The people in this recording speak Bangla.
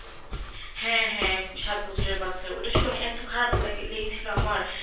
হ্যা হ্যা সাত বছর এর বাচ্চা এইটা শুনা এত খারাপ লেগেছিলো আমার